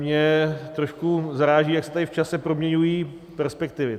Mě trošku zaráží, jak se tady v čase proměňují perspektivy.